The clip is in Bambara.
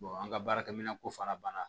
an ka baarakɛminɛn ko fana banna